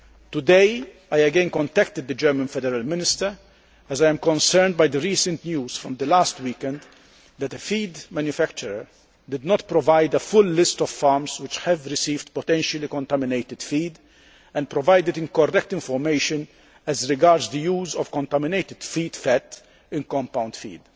Today, I again contacted the German Minister, as I was concerned by the recent news from last weekend that a feed manufacturer did not provide a full list of farms which received potentially contaminated feed, and provided incorrect information as regards the use of contaminated feed fat in compound feed,